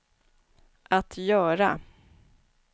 att göra